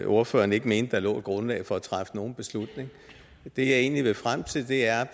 ordføreren ikke mente der lå et grundlag for at træffe nogen beslutning det jeg egentlig vil frem til er